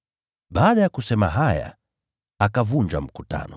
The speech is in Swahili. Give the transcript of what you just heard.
Baada ya kusema haya akavunja mkutano.